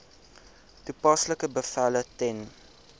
toepaslike bevele ten